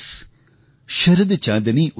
शरद चाँदनी उदास